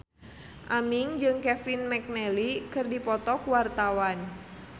Aming jeung Kevin McNally keur dipoto ku wartawan